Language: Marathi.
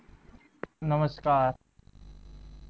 नमस्कार